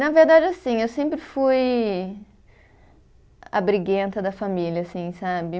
Na verdade, assim, eu sempre fui a briguenta da família, assim, sabe?